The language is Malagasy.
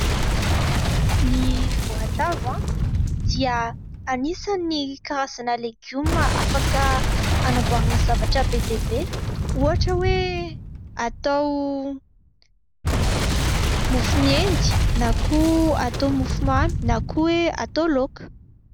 Ny voatavo dia anisan'ny karazana legioma afaka hanamboarana zavatra be dia be ohatra hoe atao mofo miendy na koa atao mofo mamy na koa hoe atao laoka.